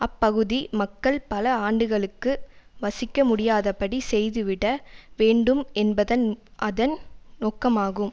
அப்பகுதி மக்கள் பல ஆண்டுகளுக்கு வசிக்க முடியாதபடி செய்து விட வேண்டும் என்பதன் அதன் நொக்கமாகும்